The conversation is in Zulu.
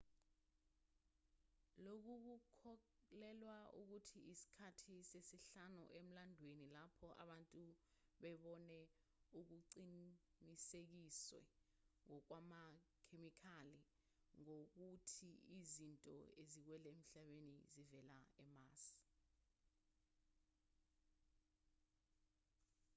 lokhu kukholelwa ukuthi isikhathi sesihlanu emlandweni lapho abantu bebone okuqinisekiswe ngokwamakhemikhali ngokuthi izinto eziwele emhlabeni zivela emars